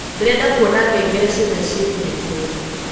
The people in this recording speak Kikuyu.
ndĩrenda kũona ngengere cĩothe cĩĩkĩrĩtwo